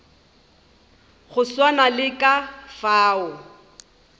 go swana le ka fao